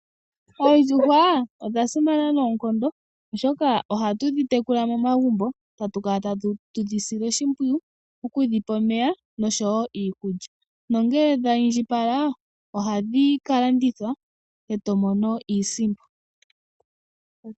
Oondjuhwa odhasimana noonkondo oshoka ohatu dhi tekula momagumbo tatu kala tatu dhi sile oshimpwiyu okudhipa omeya nosho wo iikulya nongele dha indjipala ohadhi ka landithwa e to mono iisimpo.